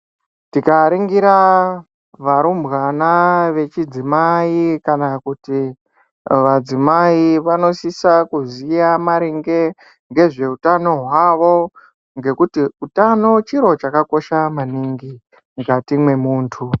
Tikaringira varumbwana vechidzimai kana kuti vadzimai vanosisa kuziya maringe ngezveutano hwawo , ngekuti utano chiro chakakosha maningi mukati memuntu.